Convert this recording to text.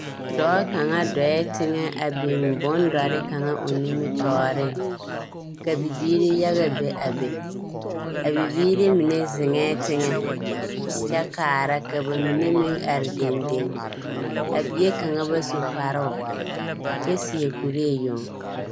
Dɔɔ kaŋa dɔɔɛ teŋɛ a biŋ bondɔre kaŋa a o nimmitɔɔreŋ. Ka bibiiri yaga be a be. A bibiiri mine zeŋɛɛ teŋɛ kyɛ kaara ka ba mine meŋ are dendeŋ. A bie kaŋa ba su kparoo, kyɛ seɛ kuree yoŋ.